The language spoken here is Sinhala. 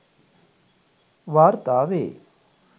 වාර්තා වේ